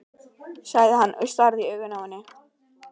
sagði hann og starði í augun á henni.